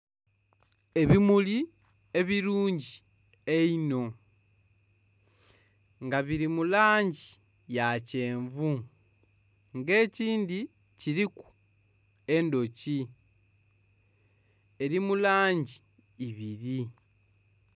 Ebimuli ebirungi einho nga biri mu langi ya kyenvu nga ekindhi kiriku endhoki eri mu langi ibiri.